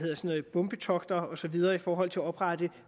bombetogter og så videre i forhold til at oprette